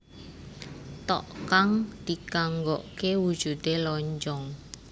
Tteok kang dikanggokke wujudé lonjong